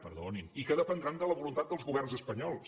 perdonin i que dependran de la voluntat dels governs espanyols